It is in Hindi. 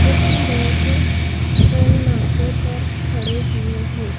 कुछ लोग टोल नाके पर खड़े हुए हैं।